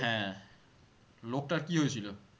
হ্যাঁ লোকটার কি হয়েছিল?